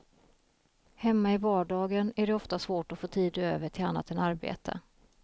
Hemma i vardagen är det ofta svårt att få tid över till annat än arbete.